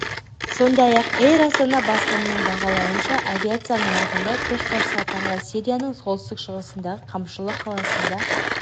сондай-ақ эйр астана басылымының бағалауынша авиация нарығында көшбасшы атанған сирияның солтүстік-шығысындағы камышлы қаласында